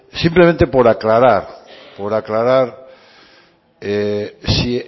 simplemente por aclarar por aclarar si